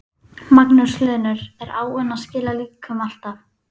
Magnús Hlynur: Er áin að skila líkum alltaf?